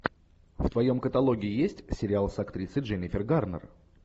в твоем каталоге есть сериал с актрисой дженнифер гарнер